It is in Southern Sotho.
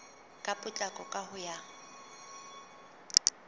ka potlako ka ho ya